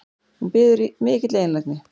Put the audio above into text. Hún biður í mikilli einlægni